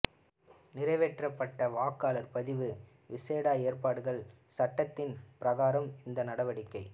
நிறைவேற்றப்பட்ட வாக்காளர் பதிவு விசேட ஏற்பாடுகள் சடடத்தின் பிரகாரம் இந்த நடவடிக்கை